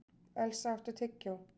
Elsa, áttu tyggjó?